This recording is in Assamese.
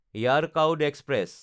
য়াৰকাউড এক্সপ্ৰেছ